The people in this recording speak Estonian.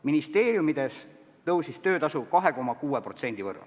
Ministeeriumides tõusis töötasu 2,6%.